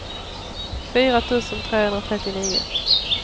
fyra tusen trehundratrettionio